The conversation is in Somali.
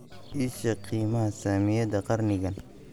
ii sheeg qiimaha saamiyada qarnigan